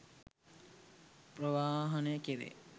ප්‍රවාහනය කෙරේ